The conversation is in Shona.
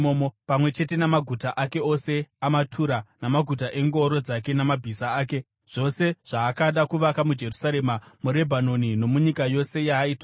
pamwe chete namaguta ake ose amatura, namaguta engoro dzake namabhiza ake, zvose zvaakada kuvaka muJerusarema, muRebhanoni nomunyika yose yaaitonga.